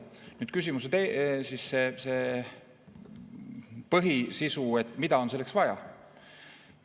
Nüüd küsimuse põhisisu, mida on selleks vaja.